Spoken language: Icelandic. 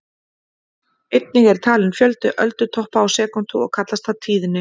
Einnig er talinn fjöldi öldutoppa á sekúndu og kallast það tíðni.